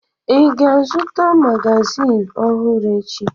Ị ga-azụta magazịn ọhụrụ echi?